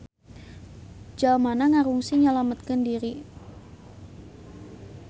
Jalmana ngarungsi nyalametkeun diri.